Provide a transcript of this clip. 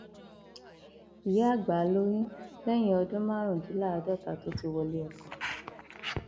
ìyá àgbà lóyún lẹyìn lóyún lẹyìn ọdún márùndínláàádọta tó ti wọlé ọkọ